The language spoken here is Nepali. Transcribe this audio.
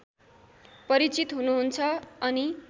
परिचित हुनुहुन्छ अनि